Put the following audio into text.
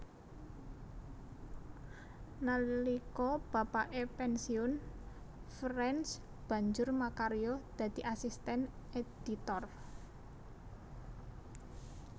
Nalika bapake pensiun France banjur makarya dadi asisten editor